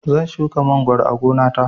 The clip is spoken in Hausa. Zan shuka mangoro a gona ta